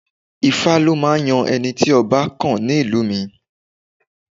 Ifá ló máa ń yan ẹni tí ọba kàn ní ìlú mi